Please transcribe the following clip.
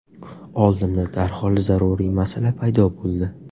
Oldimda darhol zaruriy masala paydo bo‘ldi.